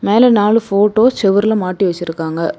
மேல நாலு போட்டோஸ் செவுருல மாட்டி வச்சிருக்காங்க.